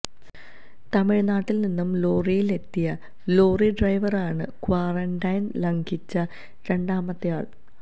തമിഴ്നാട്ടില്നിന്നു ലോറിയില് എത്തിയ ലോറി ഡ്രൈവറാണ് ക്വാറന്റൈന് ലംഘിച്ച രണ്ടാമത്തെയാള്